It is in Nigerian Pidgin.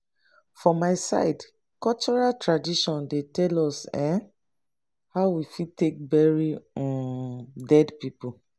for my side cultural tradition dey tell us um how we fit take bury um dead pipo